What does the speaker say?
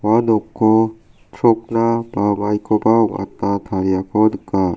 ua noko chrokna ba maikoba ong·atna tariako nika.